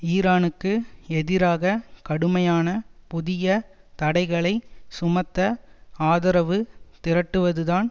ஈரானுக்கு எதிராக கடுமையான புதிய தடைகளை சுமத்த ஆதரவு திரட்டுவதுதான்